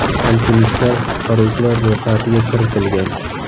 Alpinistlar qutqaruvchilar ro‘yxatiga kiritilgan.